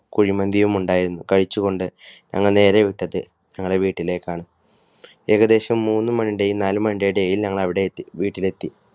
കുഴിമന്തിയുമുണ്ടായിരുന്നു. കഴിച്ചുകൊണ്ട് ഞങ്ങൾ നേരെ വിട്ടത് ഞങ്ങളുടെ വീട്ടിലേക്കാണ്. ഏകദേശം മൂന്ന് മണിയുടെയും നാലുമണിയുടെയും ഇടയിൽ ഞങ്ങൾ അവിടെ എത്തി വീട്ടിൽ എത്തി.